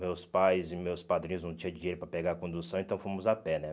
Meus pais e meus padrinhos não tinham dinheiro para pegar a condução, então fomos a pé, né?